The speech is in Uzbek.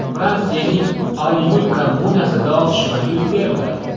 Fransiyaning Olyul kommunasida otishma yuz berdi.